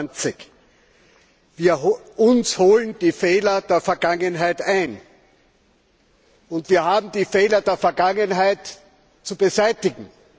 26. Uns holen die Fehler der Vergangenheit ein, und wir haben die Fehler der Vergangenheit zu beseitigen.